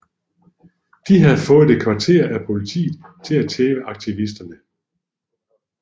De havde fået et kvarter af politiet til at tæve aktivisterne